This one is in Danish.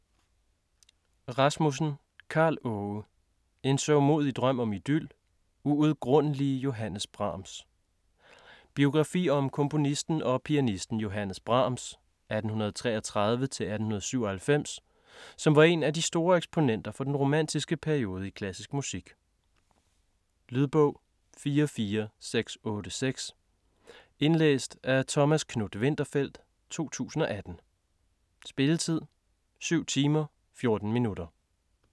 Rasmussen, Karl Aage: En sørgmodig drøm om idyl: uudgrundelige Johannes Brahms Biografi om komponisten og pianisten Johannes Brahms (1833-1897) som var en af de store eksponenter for den romantiske periode i klassisk musik. Lydbog 44686 Indlæst af Thomas Knuth-Winterfeldt, 2018. Spilletid: 7 timer, 14 minutter.